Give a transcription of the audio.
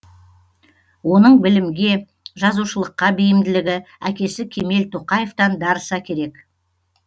оның білімге жазушылыққа бейімділігі әкесі кемел тоқаевтан дарыса керек